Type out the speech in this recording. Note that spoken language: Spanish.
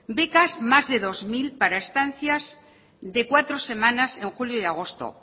becas más de dos mil para estancias de cuatro semanas en julio y agosto